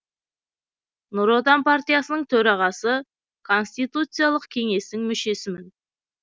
нұр отан партиясының төрағасы конституциялық кеңестің мүшесімін